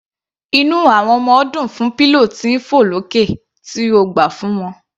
Inú àwọn ọmọ dùn fún pillow tí ń fọ̀ lókè tí o gbà fún wọn.